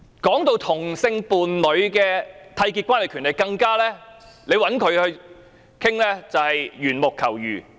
談到同性伴侶締結關係的權利，找她討論，更加是緣木求魚。